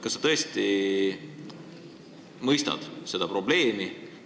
Kas sa tõesti mõistad seda probleemi?